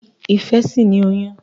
Ìfẹ sí ní oyún.